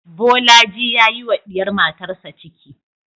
Bolaji ya yi wa diyar matarsa ciki